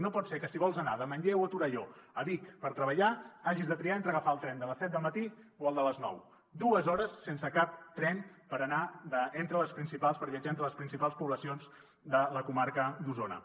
no pot ser que si vols anar de manlleu o torelló a vic per treballar hagis de triar entre agafar el tren de les set del matí o el de les nou dues hores sense cap tren per viatjar entre les principals poblacions de la comarca d’osona